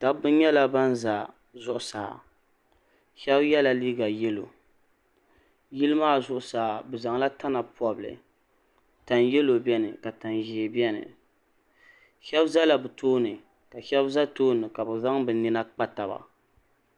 Dabba nyala ban za zuɣusaa sheba yela liiga yelo yili maa zuɣusaa bɛ zaŋla tana pobili tan'yelo biɛni ka tan'ʒee biɛni sheba zala bɛ tooni ka sheba za tooni ka bɛ zaŋ bɛ nina kpa taba.